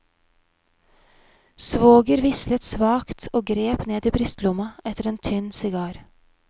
Svoger vislet svakt og grep ned i brystlomma etter en tynn sigar.